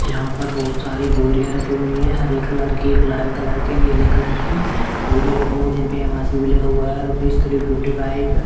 यहां पर बोहोत सारी बोरियां रखी हुई हैं हरे कलर की गुलाबी कलर की नीले कलर की बोरियां रखी हुई हैं जिन पे एमआरपी भी लगा हुआ है रुपीज थ्री फिफ्टी फाइव ।